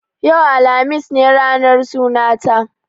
Yau, alhamis, ne ranar sunan ta